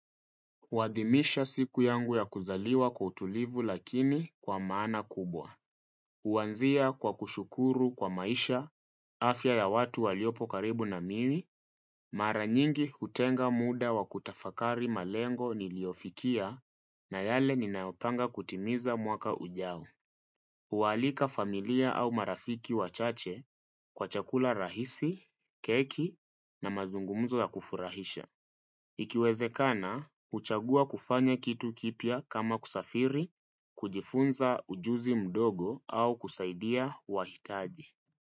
Kuadhimisha siku yangu ya kuzaliwa kwa utulivu lakini kwa maana kubwa. Huanzia kwa kushukuru kwa maisha, afya ya watu waliopo karibu na mimi, mara nyingi utenga muda wa kutafakari malengo niliofikia na yale ninayopanga kutimiza mwaka ujao. Hualika familia au marafiki wachache kwa chakula rahisi, keki na mazungumzo ya kufurahisha. Ikiwezekana, huchagua kufanya kitu kipya kama kusafiri, kujifunza ujuzi mdogo au kusaidia wahitaji.